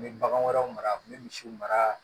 N bɛ bagan wɛrɛw mara n bɛ misiw mara